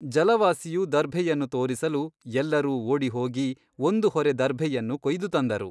ಜಲವಾಸಿಯು ದರ್ಭೆಯನ್ನು ತೋರಿಸಲು ಎಲ್ಲರೂ ಓಡಿ ಹೋಗಿ ಒಂದು ಹೊರೆ ದರ್ಭೆಯನ್ನು ಕೊಯ್ದು ತಂದರು.